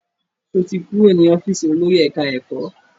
Sọ ti kúrò ní ọ́fíìsì olórí ẹ̀ká-ẹ̀kọ́?